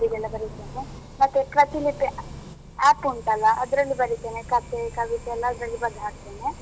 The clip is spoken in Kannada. Paper ಇಗೆಲ್ಲ ಬರಿತೇನೆ ಮತ್ತೆ ಪ್ರತಿಲಿಪಿ app ಉಂಟಲ್ಲ ಅದ್ರಲ್ಲೂ ಬರಿತೇನೆ. ಕಥೆ, ಕವಿತೆ ಎಲ್ಲಾ ಅದ್ರಲ್ಲಿ ಬರ್ದ್ ಹಾಕ್ತೇನೆ.